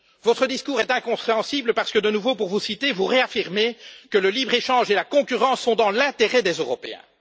Votre discours est incompréhensible, parce que, de nouveau pour vous citer vous réaffirmez que le libre échange et la concurrence servent les intérêts des Européens.